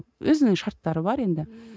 өзінің шарттары бар енді